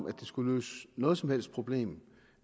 at det skulle løse noget som helst problem